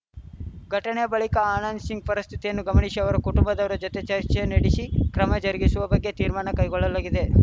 ಘಟನೆ ಬಳಿಕ ಆನಂದ್‌ ಶಿಂಗ್‌ ಪರಿಸ್ಥಿತಿಯನ್ನು ಗಮನಿಶಿ ಅವರ ಕುಟುಂಬದವರ ಜತೆ ಚರ್ಚೆ ನಡೆಶಿ ಕ್ರಮ ಜರುಗಿಸುವ ಬಗ್ಗೆ ತೀರ್ಮಾನ ಕೈಗೊಳ್ಳಲಾಗಿದೆ